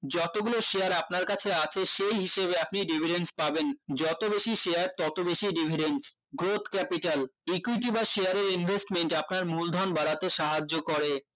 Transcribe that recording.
যতগুলো share আপনার কাছে আছে সেই হিসেবে আপনি dividents পাবেন যত বেশি share তত বেশি dividends growth capital equity বা share এর investment আপনার মূলধন বাড়াতে সাহায্য করে